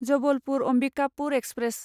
Jabalpur Ambikapur express